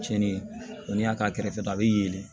Cɛnni ko n'i y'a k'a kɛrɛfɛ a bɛ yelen